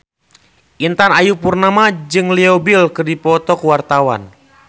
Intan Ayu Purnama jeung Leo Bill keur dipoto ku wartawan